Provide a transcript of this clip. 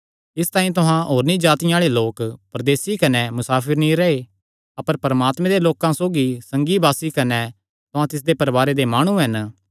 इसतांई तुहां होरनी जातिआं आल़े लोक परदेसी कने मुसाफिर नीं रैह् अपर परमात्मे दे लोकां सौगी संगीवासी कने तुहां तिसदे परवारे दे माणु हन